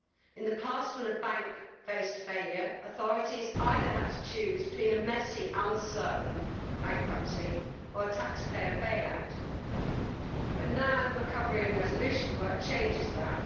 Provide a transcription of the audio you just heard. In the past, when a bank faced failure, authorities either had to choose between a messy, uncertain bankruptcy or a taxpayer bailout, but now the recovery and resolution work changes that.